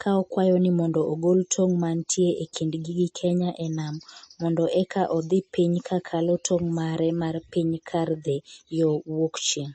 ka okwayo ni mondo ogol tong' mantie e kindgi gi Kenya e nam mondo eka odhi piny kakalo tong' mare mar piny kar dhi yo wuokchieng'.